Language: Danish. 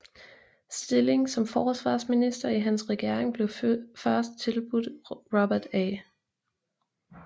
Stillingen som forsvarsminister i hans regering blev først tilbudt Robert A